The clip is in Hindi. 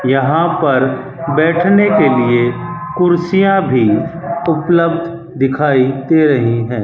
यहां पर बैठने के लिए कुर्सियां भी उपलब्ध दिखाई दे रही हैं।